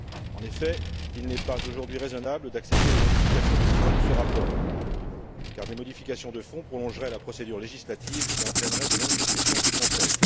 En effet, il n'est pas aujourd'hui raisonnable d'accepter des modifications de fond de ce rapport, car de telles modifications prolongeraient la procédure législative et entraîneraient de longues discussions au Conseil.